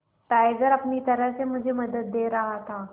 tiger अपनी तरह से मुझे मदद दे रहा था